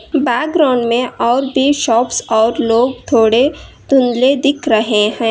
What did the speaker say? Background में और भी शॉप्स और लोग थोड़े धुंधले दिख रहे है।